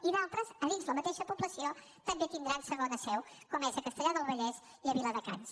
i d’altres dins la mateixa població també tindran segona seu com és a castellar del vallès i a viladecans